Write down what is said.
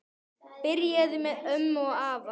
Byrjaði með ömmu og afa